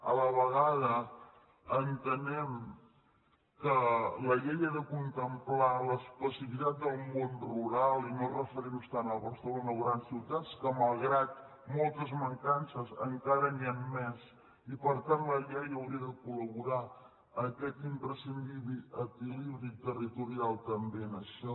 a la vegada entenem que la llei ha de contemplar l’especificitat del món rural i no referir nos tant a barcelona o grans ciutats que malgrat moltes mancances encara n’hi han més i per tant la llei hauria de collibri territorial també en això